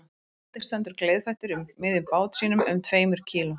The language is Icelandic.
Og Benedikt stendur gleiðfættur í miðjum bát sínum um tveimur kíló